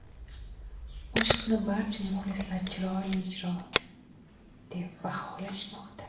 Qo‘shiqni barcha muxlislar chiroyli ijro deb baholashmoqda.